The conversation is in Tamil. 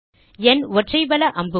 nஒற்றை வல அம்புக்குறி